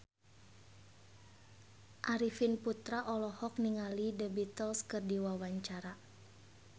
Arifin Putra olohok ningali The Beatles keur diwawancara